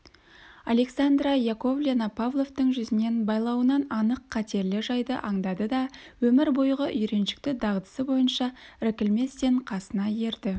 александра яковлевна павловтың жүзінен байлауынан анық қатерлі жайды аңдады да өмір бойғы үйреншікті дағдысы бойынша іркілместен қасына ерді